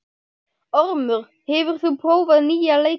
Ormur, hefur þú prófað nýja leikinn?